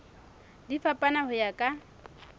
di fapana ho ya ka